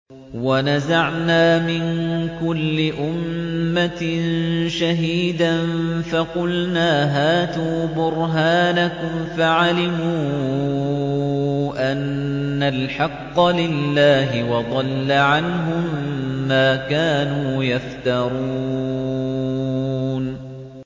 وَنَزَعْنَا مِن كُلِّ أُمَّةٍ شَهِيدًا فَقُلْنَا هَاتُوا بُرْهَانَكُمْ فَعَلِمُوا أَنَّ الْحَقَّ لِلَّهِ وَضَلَّ عَنْهُم مَّا كَانُوا يَفْتَرُونَ